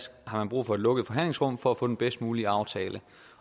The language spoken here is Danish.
har brug for et lukket forhandlingsrum for at få den bedst mulige aftale